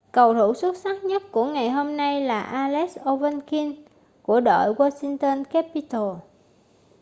cầu thủ xuất sắc nhất của ngày hôm nay là alex ovechkin của đội washington capitals